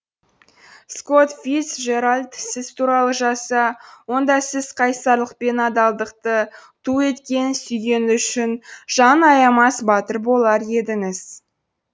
скотт фицжеральд сіз туралы жазса онда сіз қайсарлық пен адалдықты ту еткен сүйгені үшін жанын аямас батыр болар едіңіз